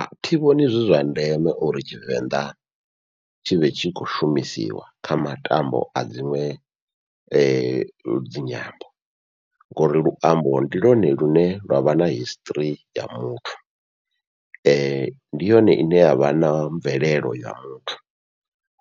Athi vhoni zwi zwa ndeme uri tshivenḓa tshivhe tshi khou shumisiwa kha matambo a dziṅwe dzinyambo, ngori luambo ndi lwone lune lwavha na history ya muthu . Ndi yone ine yavha na mvelelo ya muthu,